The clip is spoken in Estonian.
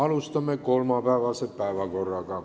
Läheme kolmapäevase päevakorra juurde.